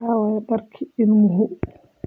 Aaway dharkii ilmuhu?